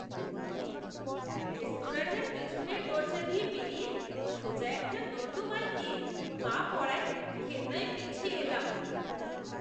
রেস্তোরাঁটার পেছনের দরজা দিয়ে বেরিয়ে সোজা একটা নর্দমায় গিয়ে পা পড়ায় ঘেন্নায় পিছিয়ে এলাম।